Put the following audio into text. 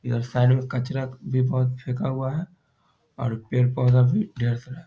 इधर साइड में कचरा भी बहुत फेका हुआ है और पेड़-पौधा भी ढेर सारा --